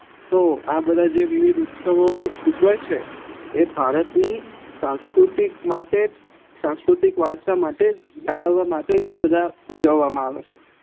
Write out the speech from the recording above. તો આ બધા વિવિધ ઉત્સવો ઉજવાય છે એ ભારતની સાંસ્કૃતિક માટે જ સાંસ્કૃતિક વારસા માટે જ જાળવવા માટે જ આ બધા ઉજવવા માં આવે છે